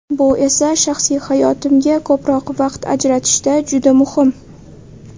Bu esa shaxsiy hayotimga ko‘proq vaqt ajratishda juda muhim.